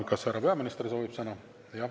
Kas härra peaminister soovib sõna?